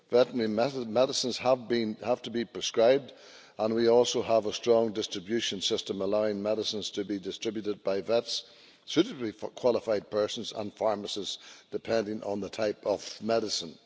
Veterinary medicines have to be prescribed and we also have a strong distribution system allowing medicines to be distributed by vets, suitably qualified persons and pharmacists, depending on the type of medicine.